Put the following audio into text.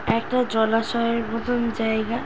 একটা জলাশয়ের মতন জায়ইগা ।